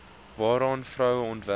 waaraan vroue onderwerp